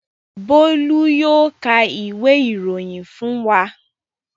Bólú yóò ka ìwé-ìròyìn fún wa.